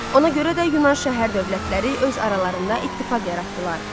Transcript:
Ona görə də Yunan şəhər-dövlətləri öz aralarında ittifaq yaratdılar.